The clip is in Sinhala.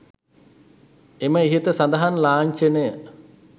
එම ඉහත සඳහන් ලාංචනය